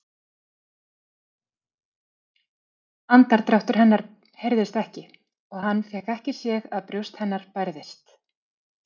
Andardráttur hennar heyrðist ekki og hann fékk ekki séð að brjóst hennar bærðist.